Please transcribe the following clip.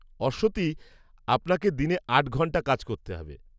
অশ্বতী, আপনাকে দিনে আট ঘণ্টা কাজ করতে হবে।